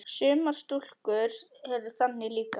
Sumar stúlkur eru þannig líka.